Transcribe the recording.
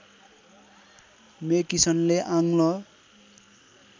मेकिसनले आङ्ग्ल